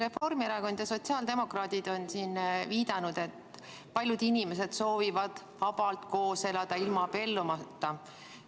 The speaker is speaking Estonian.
Reformierakond ja sotsiaaldemokraadid on siin viidanud, et paljud inimesed soovivad vabalt koos elada, ilma abiellumata.